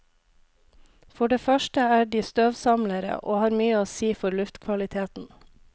For det første er de støvsamlere, og har mye å si for luftkvaliteten.